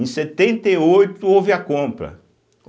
Em setenta e oito houve a compra.